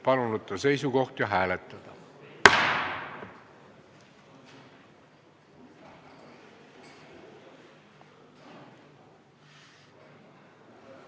Palun võtta seisukoht ja hääletada!